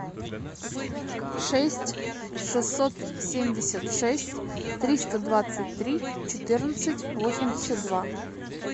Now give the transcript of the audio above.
шесть шестьсот семьдесят шесть триста двадцать три четырнадцать восемьдесят два